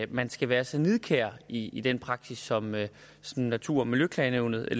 man skal være så nidkær i i den praksis som natur og miljøklagenævnet